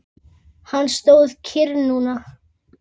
Hann stóð kyrr núna.